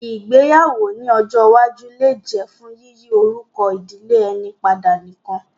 Ìgbéyàwó ní ọjọ́ iwájú lè jẹ́ fún yíyí orúkọ ìdílé ẹni padà nìkan